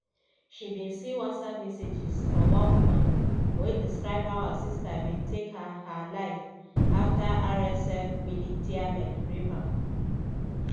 she bin see whatsapp messages from one woman wey describe how her sister bin take her her life afta rsf militiamen rape am.